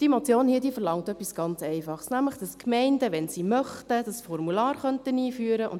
Die Motion verlangt etwas ganz Einfaches, nämlich, dass die Gemeinden, wenn sie möchten, das Formular einführen können.